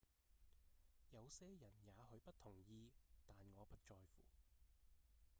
「有些人也許不同意但我不在乎